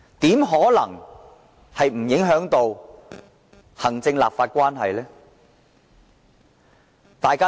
這怎可能不影響行政立法關係？